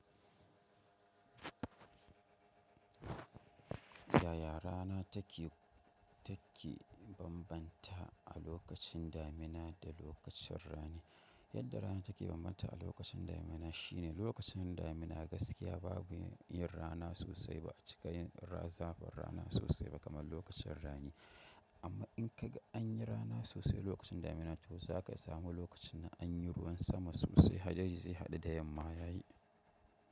Yaya rana take, take bambanta a lokacin damina da lokacin rani? Yadda rana take bambanta a lokacin damina shine lokacin damina gaskiya babu yin rana sosai ba, a cikin azabar rana sosai ba kamar lokacin rani. Amma in ka ga an yi rana sosai lokacin damina, to za ka samu lokacin da an yi ruwan sama sosai, hadari zai haɗu da yamma ya yi.